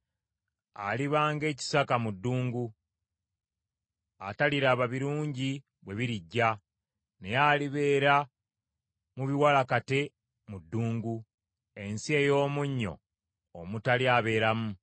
Aliba ng’ekisaka mu ddungu, ataliraba birungi bwe birijja, naye alibeera mu biwalakate mu ddungu, ensi ey’omunnyo omutali abeeramu.